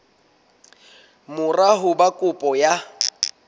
mora ho ba kopo ya